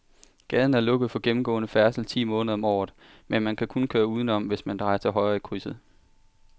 Gaden er lukket for gennemgående færdsel ti måneder om året, men man kan køre udenom, hvis man drejer til højre i krydset.